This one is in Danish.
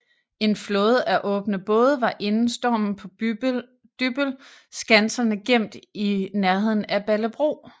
En flåde af åbne både var inden stormen på Dybbøl skanserne gemt i nærheden af Ballebro